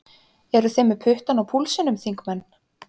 Eru þið með puttann á púlsinum, þingmenn?